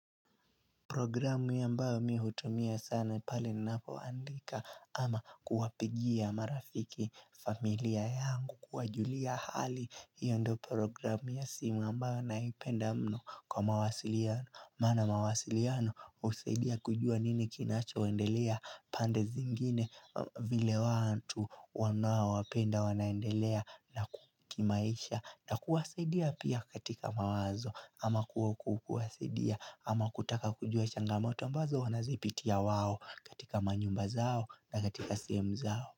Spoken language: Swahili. Programu ambayo mihutumia sana pale ninapoandika ama kuwapigia marafiki familia yangu kuwajulia hali hiyo ndo programu ya simu ambayo naipenda mno kwa mawasiliano. Mana mawasiliano husaidia kujua nini kinacho waendelea pande zingine vile watu wanawo wapenda wanaendelea na kimaisha na kuwasaidia pia katika mawazo ama kuwaku kuwasaidia. Ama kutaka kujua changamoto ambazo wanazipitia wao katika manyumba zao na katika sehemu zao.